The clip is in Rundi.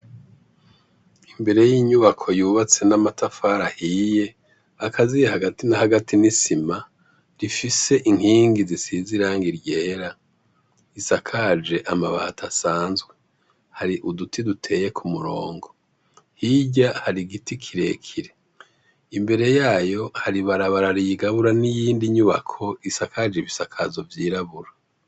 Imbere y’inyubako yubatse n’amatafari ahiye, akaziye hagati na hagati n’isima rifise inkingi zisize irangi ryera risakaje amabati asanzwe. Hari uduti duteye kumurongo hirya hari igiti kirekire, imbere yayo hari ibarabara riyigabura n’iyindi nyubako isakaje ibisakazo vy’irabura.